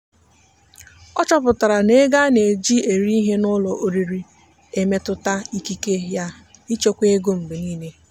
ọ chọpụtara na ego a na-eji eri ihe n'ụlọ oriri na-emetụta ikike ya ịchekwa ego mgbe niile.